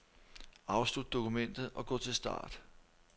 Afslut dokumentet og gå til start.